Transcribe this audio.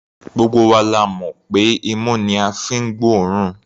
Gbogbo wa la mọ̀ pé imú ni a fi ń gbóòórùn.